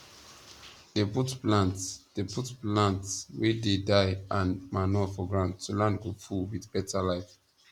dey put plants dey put plants wey dey die and manure for ground so land go full with beta life